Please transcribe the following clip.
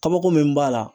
Kabako min b'a la